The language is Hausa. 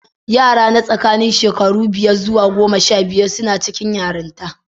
Yara na tsakanin shekaru biyar zuwa goma sha biyu suna cikin yaranta.